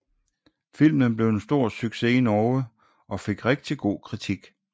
Filmen blev en stor success i Norge og fik rigtig god kritik